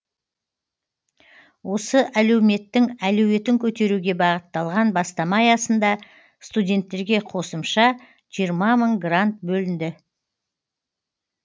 осы әлеуметтің әлеуетін көтеруге бағытталған бастама аясында студенттерге қосымша жиырма мың грант бөлінді